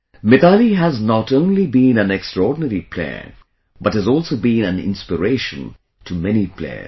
Mithali has not only been an extraordinary player, but has also been an inspiration to many players